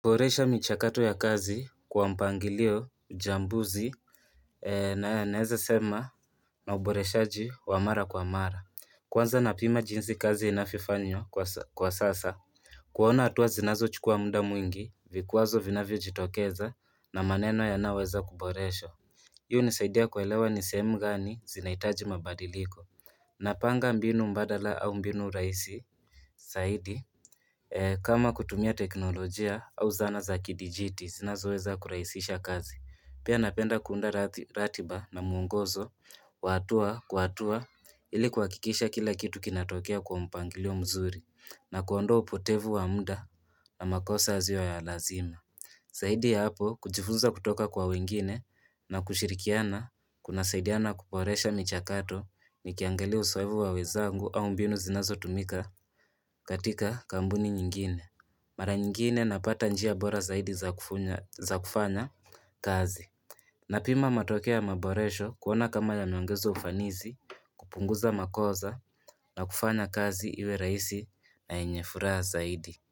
Kuboresha michakato ya kazi kwa mpangilio, uchambuzi naweza sema na uboreshaji wa mara kwa mara. Kwanza napima jinsi kazi inavyofanywa kwa sasa. Kuona hatua zinazochukua muda mwingi, vikwazo vinavyojitokeza na maneno yanayoweza kuboreshwa. Hii hunisaidia kuelewa ni sehemu gani zinahitaji mabadiliko. Napanga mbinu mbadala au mbinu rahisi zaidi kama kutumia teknolojia au zana za kidijiti zinazoweza kurahisisha kazi. Pia napenda kuunda ratiba na muongozo. Wa hatua kwa hatua ili kuhakikisha kila kitu kinatokea kwa mpangilio mzuri. Na kuondoa upotevu wa muda na makosa yasio ya lazima. Zaidi ya hapo, kujifunza kutoka kwa wengine na kushirikiana, kunasaidiana kuboresha michakato nikiangalia uzoefu wa wenzangu au mbinu zinazotumika katika kampuni nyingine. Mara nyingine napata njia bora zaidi za kufanya kazi. Napima matokeo ya maboresho kuona kama yameongeza ufanisi. Kupunguza makosa na kufanya kazi iwe rahisi na yenye furaha zaidi.